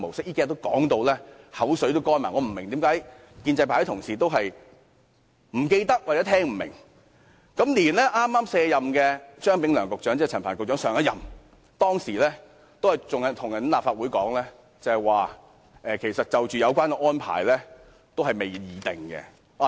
這幾天我們已說到口乾，我不明白為何建制派的同事仍是不記得，或聽不明，就連剛卸任的張炳良局長，即陳帆局長之前一任的局長，亦跟立法會說有關安排仍未敲定。